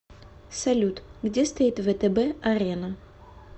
салют где стоит втб арена